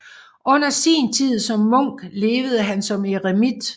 Under sin tid som munk levede han som eremit